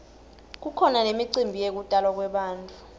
kukhona nemicimbi yekutalwa kwebantfu